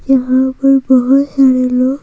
यहां पर बहुत सारे लोग--